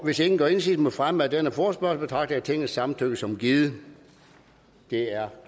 hvis ingen gør indsigelse mod fremme af denne forespørgsel betragter jeg tingets samtykke som givet det er